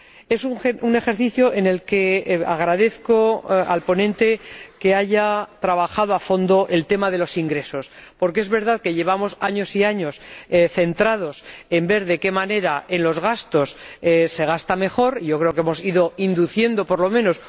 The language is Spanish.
Es un ejercicio en el que agradezco al ponente que haya trabajado a fondo el tema de los ingresos, porque es verdad que llevamos años y años centrados en ver de qué manera, en el